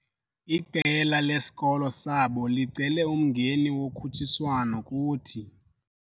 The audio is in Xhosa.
Iqela lesikolo sabo licele umngeni wokhutshiswano kuthi.